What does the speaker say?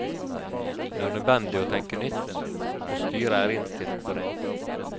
Det er nødvendig å tenke nytt, og styret er innstilt på det.